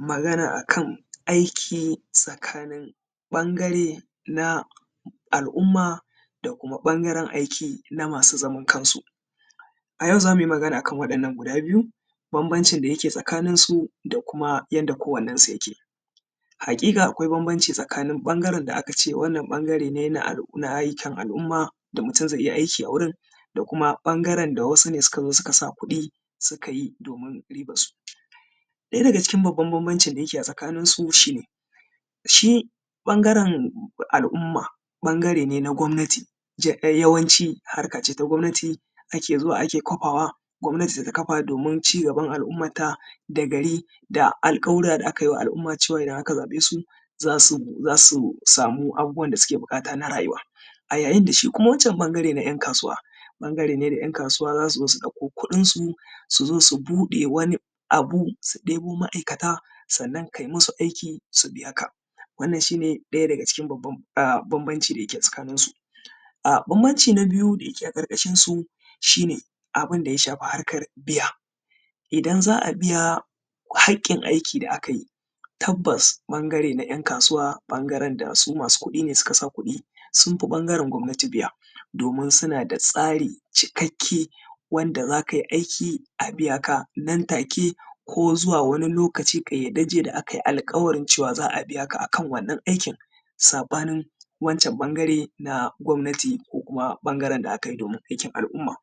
Magana a kan aiki tsakanin ɓangare na Al’umma da kuma ɓangaren aiki na masu zaman kansu. A yau za mu yi magana a kan waɗannan guda biyu, bambamcin da yake tsakanin su da kuma yanda kowannensu yake. Haƙiƙa akwai bambanci tsakanin ɓangaren da aka ce aka ce wannan ɓangare ne na aikin al’umma da mutum zai iya aiki a wajen da kuma ɓangaren da wasu ne suka saka kuɗi suka yi domin ribar su. Ɗaya daga cikin babba bambamcin da yake a tsakaninsu shine, shi ɓangaren al’umma ɓangare ne na gwamnati, yawanci harka ce ta gwamnati ake zuwa ana kafawa, gwamnati ta kafa domin cigaban al’umman ta da gari, da alƙawurra da aka yi ma al’umma cewa idan aka zaɓe su za su sami abubuwan da suke buƙata na rayuwa. A yayin da shi kuma wancan ɓangare na 'yan kasuwa, ɓangare ne da 'yan kasuwa za su ɗauko kudin su su zo su buɗe wani abu su ɗebo ma'aikata sannan kayi masu aiki sannan su biya ka. Wannan shine ɗaya dagacikin babban bambanci da yake tsakaninsu. Bambanci na biyu da yake a ƙarƙashin su shi ne, abun da ya shafi harkar biya. Idan za a biya haƙƙin aiki da aka yi tabbas ɓangare na 'yan kasuwa ɓangren da su masu kudi ne suka sa kuɗi sun fi ɓangaren gwamnati biya. Domin suna da tsari cikakke wanda za ka yi iki a biyaka nan take ko zuwa wani lokaci ƙayyadajje da aka yi alƙawarin za a biyaka a kan wannan aikin. saɓanin wancan ɓangare na gwamnati ko kuma ɓangaren da aka yi domin aikin al’umma.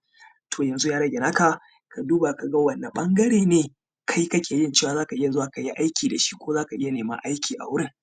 To yanzu ya rage na ka ka duba ka ga wane ɓangare ne ka ke ganin cewa za ka iya zuwa ka yi aiki da shi ko za ka iya neman aiki a wurin.